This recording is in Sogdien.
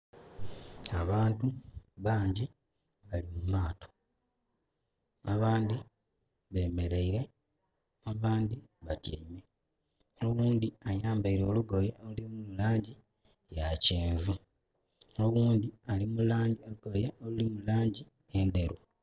Abantu bangyi bali mu maato. Abandhi bemeleire abandhi batyaime. Oghundhi ayambaile olugoye oluli mu laangi ya kyenvu. Oghundhi ali mu laangi... olugoye oluli mu laangi endheru.